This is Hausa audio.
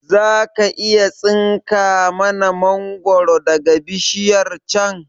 Zaka iya tsinka mana mangoro daga bishiyar can